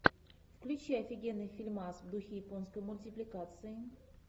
включи офигенный фильмас в духе японской мультипликации